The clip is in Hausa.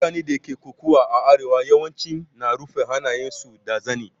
Mutanen da ke koƙawa a arewa yawanci na rufa hannayen su da zani.